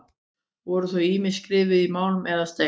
Voru þau ýmist skrifuð í málm eða stein.